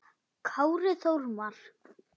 Kári Þormar.